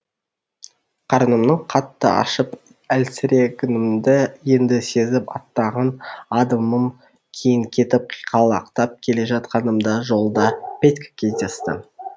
қарнымның қатты ашып әлсірегенімді енді сезіп аттаған адымым кейін кетіп қиқалақтап келе жатқанымда жолда петька кездесті